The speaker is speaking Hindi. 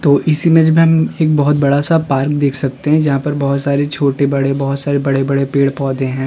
तो इस इमेज में हम एक बोहोत बड़ा-सा पार्क देख सकते हैं जहां पर बोहोत सारे छोटे बड़े बोहोत सारे बड़े-बड़े पेड़-पौधे हैं।